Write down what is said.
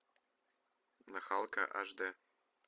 нахалка аш д